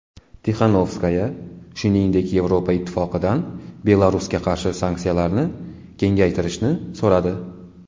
Tixanovskaya, shuningdek, Yevropa Ittifoqidan Belarusga qarshi sanksiyalarni kengaytirishni so‘radi.